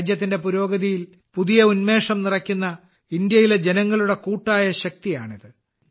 രാജ്യത്തിന്റെ പുരോഗതിയിൽ പുതിയ ഉന്മേഷം നിറയ്ക്കുന്ന ഇന്ത്യയിലെ ജനങ്ങളുടെ കൂട്ടായ ശക്തിയാണിത്